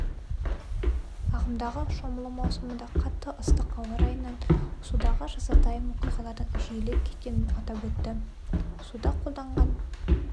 ағымдағы шомылу маусымында қатты ыстық ауа-райынан судағы жазатайым оқиғалардың жиілеп кеткенін атап өтті суда қолданған